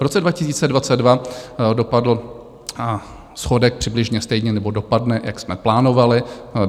V roce 2022 dopadl schodek přibližně stejně, nebo dopadne, jak jsme plánovali.